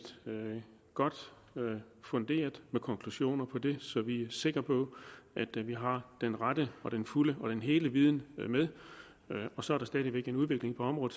godt funderet med konklusioner på det så vi er sikre på at vi har den rette og den fulde og den hele viden med og så er der stadig væk en udvikling på området